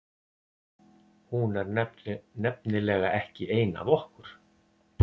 Hún er nefnilega ekki ein af okkur.